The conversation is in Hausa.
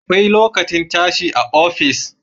Akwai lokacin tashi a office